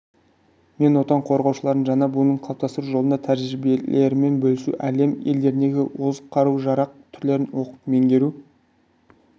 мен отан қорғаушыларының жаңа буынын қалыптастыру жолында тәжірибелерімен бөлісу әлем елдеріндегі озық қару-жарақ түрлерін оқып-меңгеру